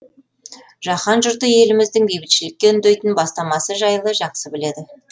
жаһан жұрты еліміздің бейбітшілікке үндейтін бастамасы жайлы жақсы біледі